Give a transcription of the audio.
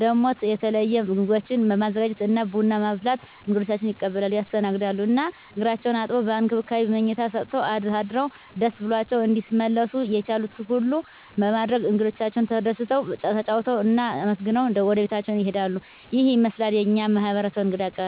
ደሞ የተለየ ምግቦችን በማዘጋጀት እና ቡና በማፍላት እንግዶቻቸዉን ይቀበላሉ (ያስተናግዳሉ) ። እና እግራቸዉን አጥበዉ፣ በእንክብካቤ መኝታ ሰጠዉ አሳድረዉ ደስ ብሏቸዉ እንዲመለሱ የቻሉትን ሁሉ በማድረግ እንግዶቻቸዉ ተደስተዉ፣ ተጫዉተዉ እና አመስግነዉ ወደቤታቸዉ ይሄዳሉ። ይሄን ይመስላል የኛ ማህበረሰብ እንግዳ አቀባበል።